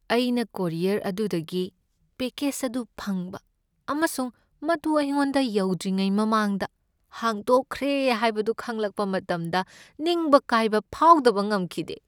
ꯑꯩꯅ ꯀꯣꯔꯤꯌꯔ ꯑꯗꯨꯗꯒꯤ ꯄꯦꯀꯦꯠ ꯑꯗꯨ ꯐꯪꯕ ꯑꯃꯁꯨꯡ ꯃꯗꯨ ꯑꯩꯉꯣꯟꯗ ꯌꯧꯗ꯭ꯔꯤꯉꯩ ꯃꯃꯥꯡꯗ ꯍꯥꯡꯗꯣꯛꯈ꯭ꯔꯦ ꯍꯥꯏꯕꯗꯨ ꯈꯪꯂꯛꯄ ꯃꯇꯝꯗ ꯅꯤꯡꯕ ꯀꯥꯏꯕ ꯐꯥꯎꯗꯕ ꯉꯝꯈꯤꯗꯦ꯫